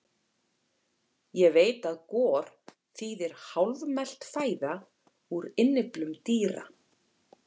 Ég veit að gor þýðir hálfmelt fæða úr innyflum dýra.